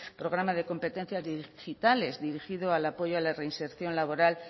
programa de competencias digitales dirigido al apoyo a la reinserción laboral